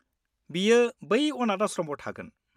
बियो बै अनाथ आश्रमआव थागोन।